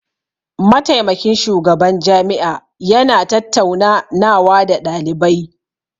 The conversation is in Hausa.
Mataimakin shugaban jami'a ya na tattauna nawa da ɗalibai